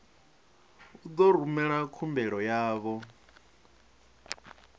u ḓo rumela khumbelo yavho